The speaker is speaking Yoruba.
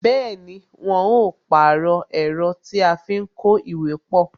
Bẹẹni, wọn ó pàrọ̀ ẹ̀rọ tí a fi ń kó ìwé pọ